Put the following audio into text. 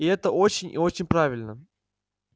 и это очень и очень правильно